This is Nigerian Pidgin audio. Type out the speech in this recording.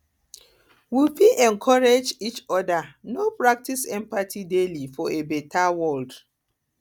we we fit encourage each other to practice empathy daily for a beta world